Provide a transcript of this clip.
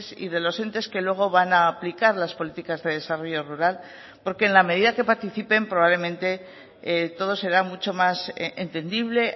y de los entes que luego van a aplicar las políticas de desarrollo rural porque en la medida que participen probablemente todo será mucho más entendible